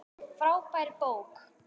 Frábær bók.